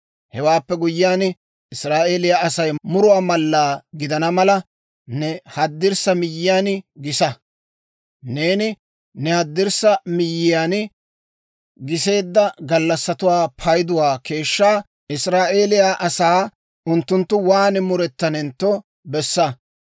«Hewaappe guyyiyaan, Israa'eeliyaa asaw muruwaa mallaa gidana mala ne haddirssa miyyiyaan gisa. Neeni ne haddirssa miyyiyaan giseedda gallassatuwaa payduwaa keeshshaa Israa'eeliyaa asaa unttunttu waan murettanentto bessaasa.